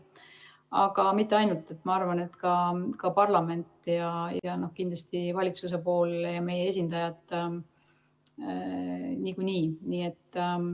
Aga mitte ainult, ma arvan, et ka parlament ja kindlasti valitsuse pool ja meie esindajad niikuinii.